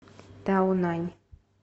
таонань